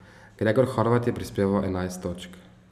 Gregor Horvat je prispeval enajst točk.